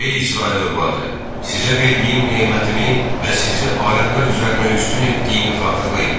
Ey İsrail övladı, sizə verdiyim nemətimi və sizi aləmlər üzərinə üstün etdiyimi xatırlayın.